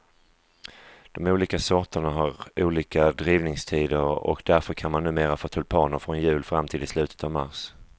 De olika sorterna har olika drivningstider och därför kan man numera få tulpaner från jul och fram till slutet av mars.